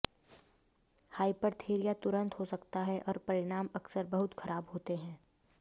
हाइपरथेरिया तुरंत हो सकता है और परिणाम अक्सर बहुत खराब होते हैं